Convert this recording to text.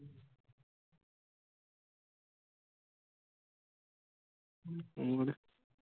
ਹੋਰ?